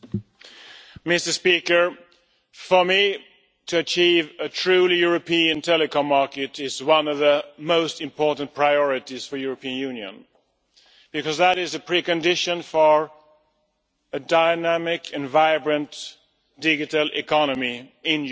Mr President, for me, to achieve a truly European telecom market is one of the most important priorities for the European Union, because that is a precondition for a dynamic and vibrant digital economy in the European Union